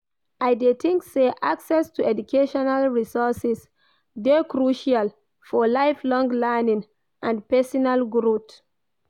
I dey think say access to educational resources dey crucial for lifelong learning and pesinal growth.